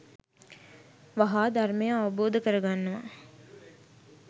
වහා ධර්මය අවබෝධ කරගන්නවා.